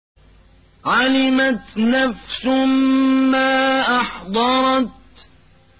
عَلِمَتْ نَفْسٌ مَّا أَحْضَرَتْ